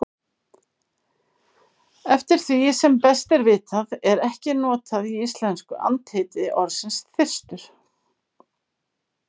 Eftir því sem best er vitað er ekki notað í íslensku andheiti orðsins þyrstur.